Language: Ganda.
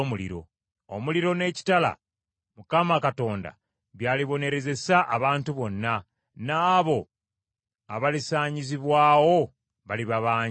Omuliro n’ekitala Mukama Katonda by’alibonerezesa abantu bonna, n’abo abalisaanyizibwawo baliba bangi.